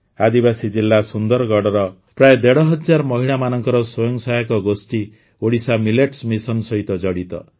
ଆଦିବାସୀ ଜିଲ୍ଲା ସୁନ୍ଦରଗଡ଼ର ପ୍ରାୟଃ ଦେଢ଼ ହଜାର ମହିଳାମାନଙ୍କର ସ୍ୱୟଂ ସହାୟକ ଗୋଷ୍ଠୀ ଓଡ଼ିଶା ମିଲେଟ୍ସ ମିଶନ୍ ସହିତ ଜଡ଼ିତ